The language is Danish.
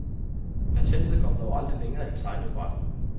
Patentet kom dog aldrig længere end tegnebrættet.